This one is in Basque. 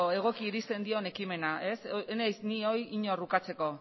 egoki irizten dion ekimena ez naiz ni inor hori ukatzeko